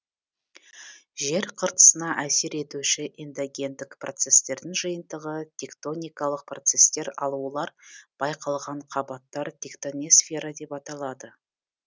жер қыртысына әсер етуші эндогендік процестердің жиынтығы тектоникалық процестер ал олар байқалған қабаттар тектоносфера деп аталады